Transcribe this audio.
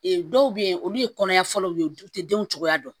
dɔw bɛ yen olu ye kɔnɔya fɔlɔw ye u tɛ denw cogoya dɔn